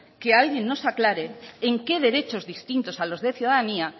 que alguien nos aclare en qué derechos distintos a los de ciudadanía